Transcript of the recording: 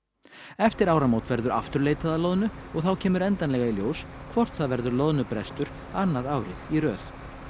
eftir áramót verður aftur leitað að loðnu og þá kemur endanlega í ljós hvort það verður loðnubrestur annað árið í röð